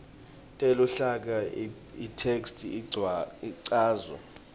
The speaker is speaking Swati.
teluhlaka itheksthi icanjwe